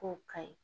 K'o ka ɲi